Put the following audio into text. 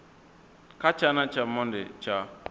kha tshana tsha monde tsha